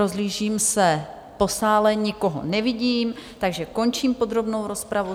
Rozhlížím se po sále, nikoho nevidím, takže končím podrobnou rozpravu.